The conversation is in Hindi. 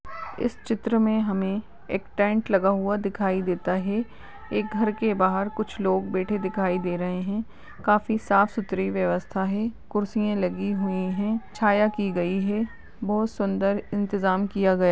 इस चित्र में हमें एक टेंट लगा हुआ दिखाई देता है एक घर के बाहर बैठे कुछ लोग दिखाई दे रहे हैं काफी साफ़ सुथरी व्यवस्था हैं कुर्सियां लगी हुई है छाया की गई है बोहुत सुन्दर इंतजाम किया गया।